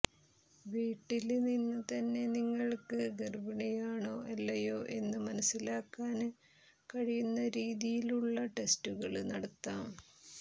വീട്ടില് നിന്ന് തന്നെ നിങ്ങള്ക്ക് ഗര്ഭിണിയാണോ അല്ലയോ എന്ന് മനസ്സിലാക്കാന് കഴിയുന്ന രീതിയിലുള്ള ടെസ്റ്റുകള് നടത്താം